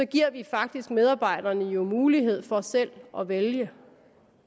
giver vi faktisk medarbejderne mulighed for selv at vælge